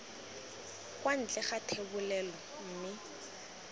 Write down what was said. kwa ntle ga thebolelo mme